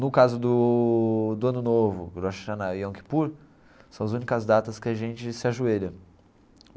No caso do do Ano Novo, Rosh Hashanah e Yom Kippur, são as únicas datas que a gente se ajoelha.